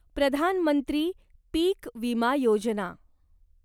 Pradhan Mantri Pik Vima Yojana